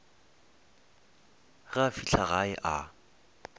ge a fihla gae a